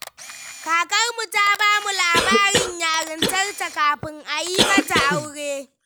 Kakarmu ta ba mu labarin yarintarta kafin a yi mata aure.